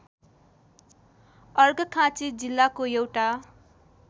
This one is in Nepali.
अर्घखाँची जिल्लाको एउटा